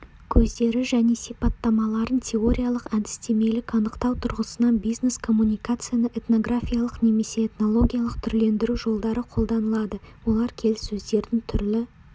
көздері және сипаттамаларын теориялық әдістемелік анықтау тұрғысынан бизнес-коммуникацияны этнографиялық немесе этнологиялық түрлендіру жолдары қолданылады олар келіссөздердің түрлі